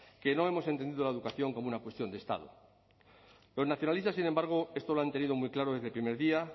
que no hemos entendido la educación como una cuestión de estado los nacionalistas sin embargo esto lo han tenido muy claro desde el primer día